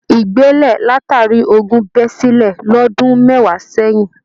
Igbele latari ogún bẹ sílẹ̀ l'ọdun mẹwa sẹyìn